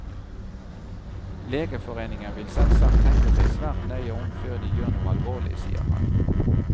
Legeforeningen vil selvsagt tenke seg svært nøye om før de gjør noe alvorlig, sier han.